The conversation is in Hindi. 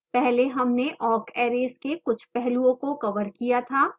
पहले हमने awk arrays के कुछ पहलुओं को कवर किया था